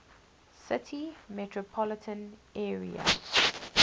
city metropolitan area